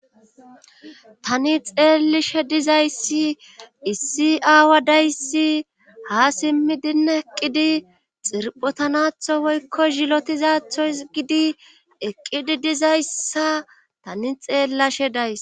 Tani xeelishe dizayssi issi aawa dayssi ha simmidin eqqidi xirphotanatho woykko zilotizathoy gidi eqqidi dizayssa tani xeellashe days